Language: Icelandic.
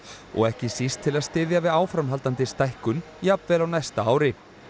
og ekki síst til að styðja við áframhaldandi stækkun jafnvel á næsta ári